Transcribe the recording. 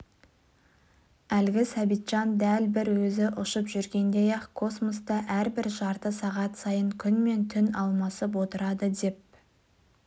әлгі сәбитжан дәл бір өзі ұшып жүргендей-ақ космоста әрбір жарты сағат сайын күн мен түн алмасып отырады деп